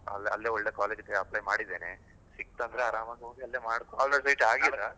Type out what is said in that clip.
ಅಲ್ಲೇ ಒಳ್ಳೆ college ಗೆ apply ಮಾಡಿದ್ದೇನೆ, ಸಿಗ್ತ್ ಅಂದ್ರೆ ಆರಾಮಾಗ್ ಹೋಗಿ ಅಲ್ಲೇ , ಹಾ?